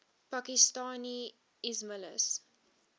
pakistani ismailis